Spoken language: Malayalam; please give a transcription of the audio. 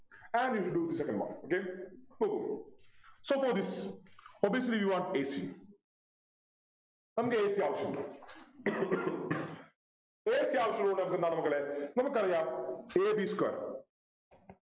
and we will do the second one okay നോക്കൂ suppose this obviously you want a c നമുക്ക് a c ആവശ്യമുണ്ട് a c ആവശ്യമുള്ളത് കൊണ്ട് നമുക്ക് എന്താണ് മക്കളെ നമുക്കറിയാം a b square